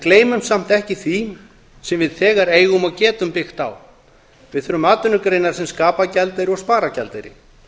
gleymum samt ekki því sem við þegar eigum og getum byggt á við þurfum atvinnugreinar sem skapa gjaldeyri og spara gjaldeyri